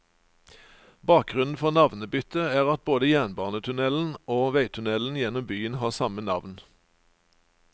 Bakgrunnen for navnebyttet er at både jernbanetunnelen og veitunnelen gjennom byen har samme navn.